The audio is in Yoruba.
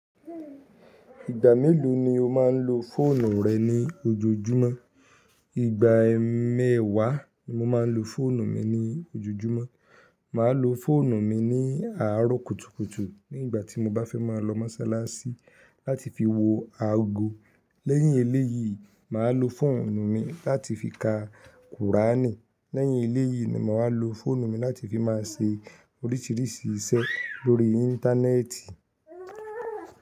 Ìgbà mélòó ni o máa ń lo fóònù rẹ ní ojoojúmọ́? Ìgbà mẹ́wàá ni mo máa ń lo fóònù mi ní ojoojúmọ́. Mà á lo fóònù mi ní àárọ̀ kùtùkùtù nígbà tí mo bá fẹ́ máa lọ mọ́ṣáláṣí láti fi wo aago. Lẹ́yìn eléyìí, mà á lo fóònù mi láti fi ka kùránì. Lẹ́yìn eléyìí ni mà wa lo fóònù mi láti fi máa se oríṣiríṣi iṣẹ́ lórí Íńtánẹ́ẹ̀tì.